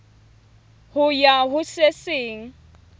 ho ya ho se seng